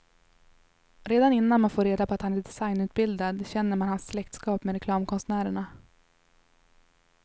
Redan innan man får reda på att han är designutbildad känner man hans släktskap med reklamkonstnärerna.